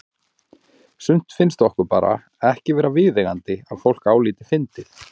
Sumt finnst okkur bara ekki vera viðeigandi að fólk álíti fyndið.